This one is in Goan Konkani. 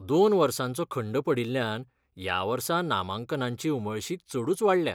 दोन वर्सांचो खंड पडिल्ल्यान ह्या वर्सा नामांकनांची उमळशीक चडूच वाडल्या.